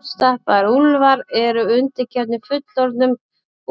Hálfstálpaðir úlfar eru undirgefnir fullorðnum